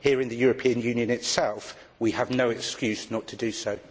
Here in the European Union itself we have no excuse not to do so.